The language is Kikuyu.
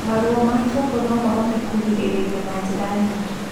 Maruo ma kĩongo nomahote kũgirĩrĩrio na njĩra nyingĩ